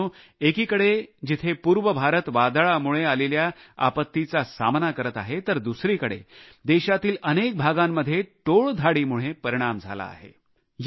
मित्रांनो एकीकडे जिथे पूर्व भारत वादळामुळे आलेल्या आपत्तीचा सामना करत आहे तर दुसरीकडे देशातील अनेक भागांमध्ये टोळधाडीमुळे परिणाम झाला आहे